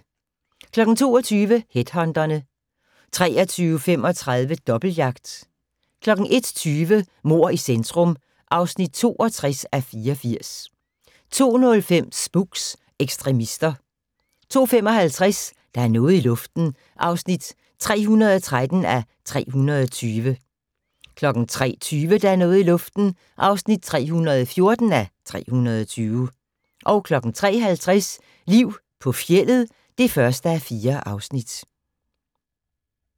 22:00: Headhunterne 23:35: Dobbeltjagt 01:20: Mord i centrum (62:84) 02:05: Spooks: Ekstremister 02:55: Der er noget i luften (313:320) 03:20: Der er noget i luften (314:320) 03:50: Liv på fjeldet (1:4)